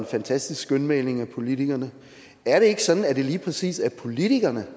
fantastisk skønmaleri af politikerne er det ikke sådan at det lige præcis er politikerne